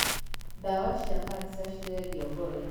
ndawa cia kanca cirendio goro.